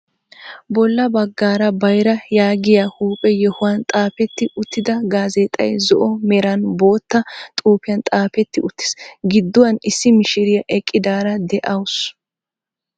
Bolla baggaara bayra yaagiyaa huuphphe yoohuwaan xaafetti uttida gaazeexay zo"o meran bootta xuufiyaan xaafetti uttiis. Gidduwaan issi mishiriyaa eqqidaara de'awus.